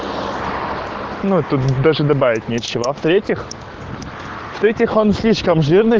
ну тут даже добавить нечего а в-третьих в-третьих он слишком жирный